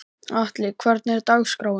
Atli, hvernig er dagskráin?